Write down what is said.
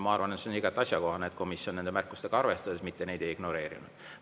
Ma arvan, et see on igati asjakohane, et komisjon on nende märkustega arvestanud, mitte neid ignoreerinud.